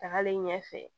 Tagalen ɲɛfɛ